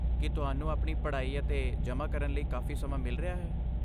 ਕੀ ਤੁਹਾਨੂੰ ਆਪਣੀ ਪੜ੍ਹਾਈ ਅਤੇ ਜਮ੍ਹਾਂ ਕਰਨ ਲਈ ਕਾਫ਼ੀ ਸਮਾਂ ਮਿਲ ਰਿਹਾ ਹੈ?